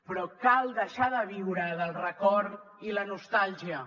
però cal deixar de viure del record i la nostàlgia